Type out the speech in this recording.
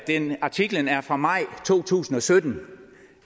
artiklen er fra maj to tusind og sytten